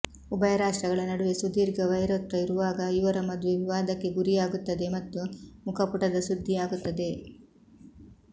ಉಭಯ ರಾಷ್ಟ್ರಗಳ ನಡುವೆ ಸುದೀರ್ಘ ವೈರತ್ವ ಇರುವಾಗ ಇವರ ಮದುವೆ ವಿವಾದಕ್ಕೆ ಗುರಿಯಾಗುತ್ತದೆ ಮತ್ತು ಮುಖಪುಟದ ಸುದ್ದಿಯಾಗುತ್ತದೆ